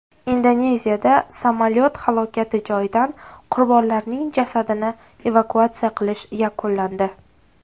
Indoneziyada samolyot halokati joyidan qurbonlarning jasadini evakuatsiya qilish yakunlandi.